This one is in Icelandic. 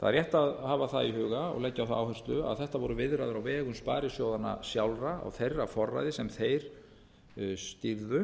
það er rétt að hafa það í eiga og leggja á það áherslu að þetta voru viðræður á vegum sparisjóðanna sjálfra á þeirra forræði sem þeir stýrðu